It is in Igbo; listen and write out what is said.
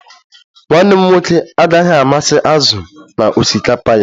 Nwanne m nwoke agaghị amasị azụ n'osikapa ya